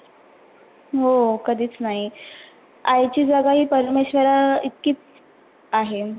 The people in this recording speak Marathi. हो कधिच नाही, आईची जगा ही परमेश्वरा इतकीच आहे.